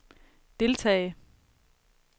deltage